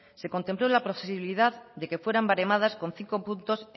se contempló la posibilidad de que fueran baremadas con cinco puntos